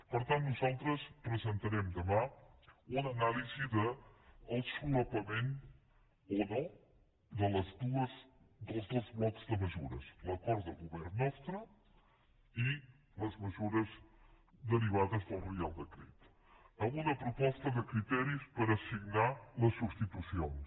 per tant nosaltres presentarem demà una anàlisi del solapament o no dels dos blocs de mesures l’acord de govern nostre i les mesures derivades del reial decret amb una proposta de criteris per assignar les substitucions